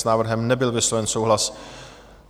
S návrhem nebyl vysloven souhlas.